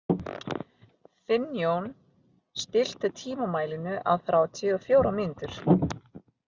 Finnjón, stilltu tímamælinn á þrjátíu og fjórar mínútur.